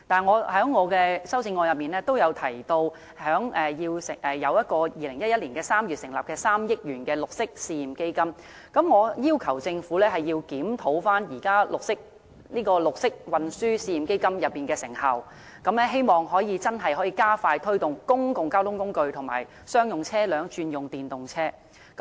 我在修正案也提及2011年3月成立的3億元的綠色運輸試驗基金，我要求政府檢討綠色運輸試驗基金的成效，希望能夠真正加快推動公共交通工具和商用車輛轉用電動車。